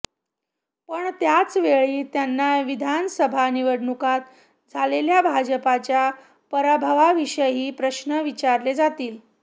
पण त्याचवेळी त्यांना विधानसभा निवडणुकांत झालेल्या भाजपच्या पराभवाविषयीही प्रश्न विचारले जातील